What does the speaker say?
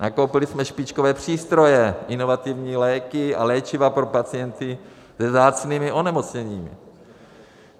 Nakoupili jsme špičkové přístroje, inovativní léky a léčiva pro pacienty se vzácnými onemocněními.